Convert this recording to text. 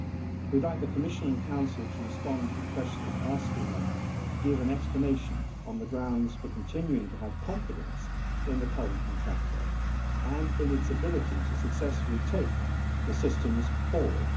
We would like the Commission and Council to respond to the questions asking them to give an explanation of the grounds for continuing to have confidence in the current contractor and in its ability to successfully take the systems forward.